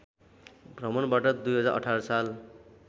भ्रमणबाट २०१८ साल